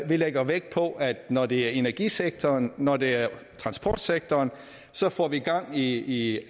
vi lægger vægt på at når det er energisektoren når det er transportsektoren så får vi gang i